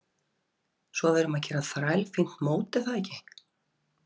Svo við erum að gera þrælfínt mót er það ekki?